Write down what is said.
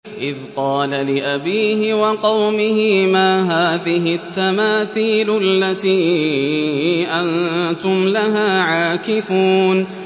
إِذْ قَالَ لِأَبِيهِ وَقَوْمِهِ مَا هَٰذِهِ التَّمَاثِيلُ الَّتِي أَنتُمْ لَهَا عَاكِفُونَ